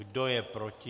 Kdo je proti?